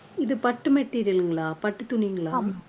இது பட்டு material ங்களா பட்டுத் துணிங்களா